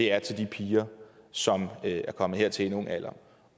er til de piger som er kommet hertil i en ung alder